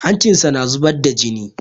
Hancin shi na zubar da jini.